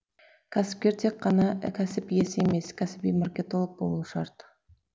кәсіпкер тек қана кәсіп иесі емес кәсіби маркетолог болуы шарт